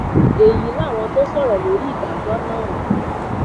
èyí làwọn tó sọrọ lórí ìdájọ náà